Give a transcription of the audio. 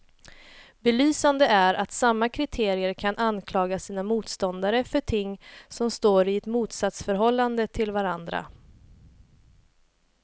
Belysande är att samma kritiker kan anklaga sina motståndare för ting som står i ett motsatsförhållande till varandra.